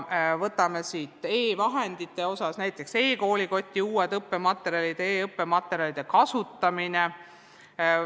Vaatame näiteks e-vahendeid – e-koolikotti on loodud uusi õppematerjale ja antakse nõu, kuidas e-õppematerjale kasutada.